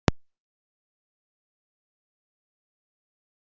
Páll: Hvernig leggst þessi ferð í flugfreyjurnar?